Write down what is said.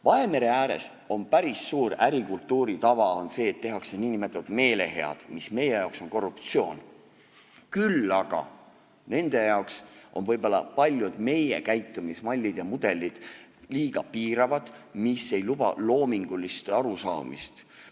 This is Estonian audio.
Vahemere ääres on päris suur ärikultuuri tava see, et tehakse nn meelehead, mis meie jaoks on korruptsioon, küll aga nende jaoks on võib-olla paljud meie käitumismallid ja -mudelid liiga piiravad, mis ei luba loomingulist arusaamist.